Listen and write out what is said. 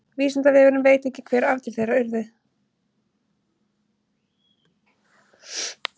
vísindavefurinn veit ekki hver afdrif þeirra urðu